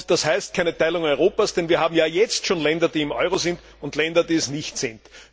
Das bedeutet nicht eine Teilung Europas, denn wir haben ja jetzt schon Länder, die im Euro sind, und Länder, die es nicht sind.